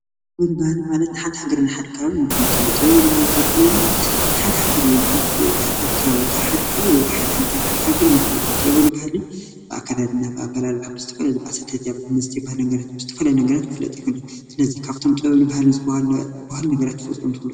ጥበብን ባህልን ማለት ንሓንቲ ሃገርን ንሓደ ከባብን መፍለጢ እዩ። ጥበብን ባህልን ክንብል ተለና ንሓደ ሃገር ወይ ሓንቲ ከባቢ ካብ ሓደ ከባቢ ወይ ካብ ሓንቲ ሃገር መፍለጢ እዩ። ጥበብን ባህልን ብኣከዳድና፣ ብኣበላልዓ፣ ብዝተፈላለዩ ብኣሰታትያ መስተታት ባህልን ነገራት ብዝተፈላለዩ ነገራት ክፍለጥ ይኽእል እዩ ። ስለዚ ካብቶም ጥበብን ባህልን ዝባሃሉ ክትፈልጥዎም ትኽእሉ ዶ?